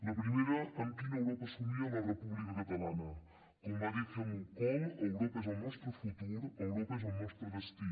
la primera amb quina europa somia la república catalana com va dir helmut kohl europa és el nostre futur europa és el nostre destí